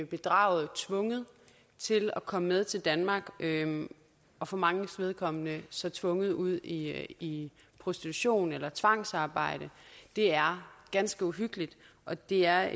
bedraget tvunget til at komme med til danmark og for manges vedkommende så tvunget ud i i prostitution eller tvangsarbejde det er ganske uhyggeligt og det er